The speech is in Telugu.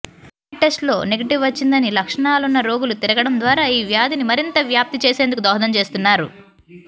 ర్యాపిడ్ టెస్టులో నెగెటివ్ వచ్చిందని లక్షణాలున్న రోగులు తిరిగడం ద్వారా ఈ వ్యాధిని మరింత వ్యాప్తి చేసేందుకు దోహదం చేస్తున్నారు